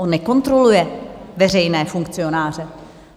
On nekontroluje veřejné funkcionáře!